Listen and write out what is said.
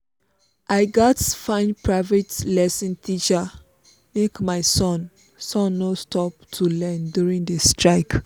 i gats find private lesson teacher make my son son no stop to learn during the strike